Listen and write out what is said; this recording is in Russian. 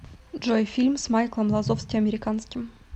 джой фильм с майклом лазовски американским